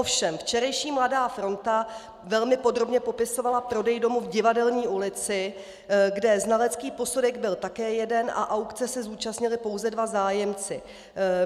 Ovšem včerejší Mladá fronta velmi podrobně popisovala prodej domu v Divadelní ulici, kde znalecký posudek byl také jeden a aukce se zúčastnili pouze dva zájemci.